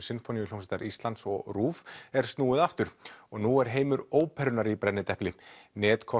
Sinfóníuhljómsveitar Íslands og RÚV er snúið aftur og nú er heimur óperunnar í brennidepli